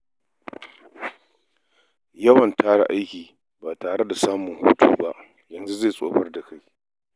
Yawan tara aiki ba tare da samun hutu ba yanzu zai tsufar da kai.